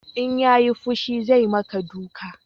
In ya yi fushi zai ma ka duka